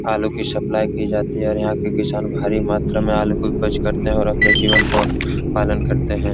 आलू की सप्लाय की जाती है और यहाँ के किशान भारी मात्रा में आलु की उपज करते हैं और अपने जीवन का पालन करते हैं।